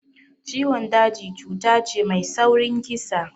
Ciwon daji cuta ce mai saurin kisa